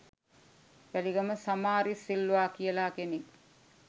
වැලිගම සමාරිස් සිල්වා කියලා කෙනෙක්